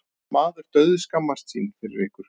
Maður dauðskammast sín fyrir ykkur.